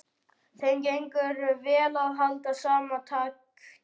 Þeim gengur vel að halda sama takti.